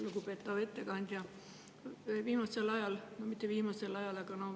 Lugupeetav ettekandja!